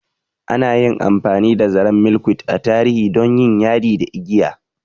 Ana yi amfani da zaren Milkweed a tarihi don yin yadi da igiya.